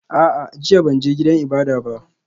A'a, jiya ban je gidan ibada ba